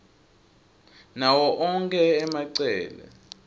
nawo onkhe emacele